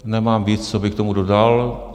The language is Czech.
Nemám víc, co bych k tomu dodal.